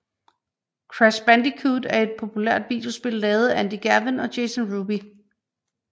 Crash Bandicoot er et populært videospil lavet af Andy Gavin og Jason Rubin